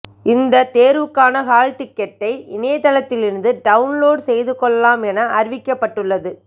இந்த தேர்வுகான ஹால் டிக்கெட்டை இணையத்தில் இருந்து டவுன்லோடு செய்து கொள்ளலாம் என அறிவிக்கப்பட்டுள்ளது